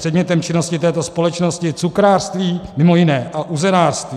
Předmětem činnosti této společnosti je cukrářství, mimo jiné, a uzenářství.